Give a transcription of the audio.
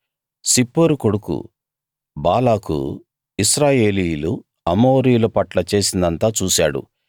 సిప్పోరు కొడుకు బాలాకు ఇశ్రాయేలీయులు అమోరీయు పట్ల చేసిందంతా చూశాడు